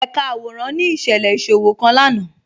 Ẹ̀kà àwọ̀ràn ni iṣẹ̀lẹ̀ iṣòwọ̀̀ kan lánà